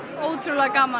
ótrúlega gaman